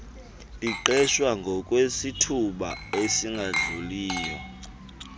liqeshwa ngokwesithuba esingadluliyo